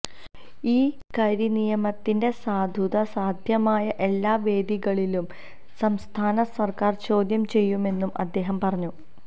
ഈ കരിനിയമത്തിന്റെ സാധുത സാദ്ധ്യമായ എല്ലാ വേദികളിലും സംസ്ഥാന സർക്കാർ ചോദ്യം ചെയ്യുമെന്നും അദ്ദേഹം പറഞ്ഞു